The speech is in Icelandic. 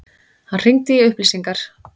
Hann hringdi í upplýsingar.